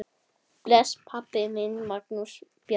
Bless, pabbi minn, Magnús Bjarki.